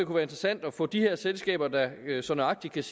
være interessant at få de her selskaber der så nøjagtigt